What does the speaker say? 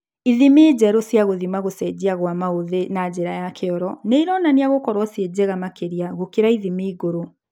Ithimi njerũ cia gũthima gũcenjia kwa maũthĩ na njĩra ya kĩoro nĩironania gũkorwo ci njega makĩria gũkĩra ithimi ngũrũ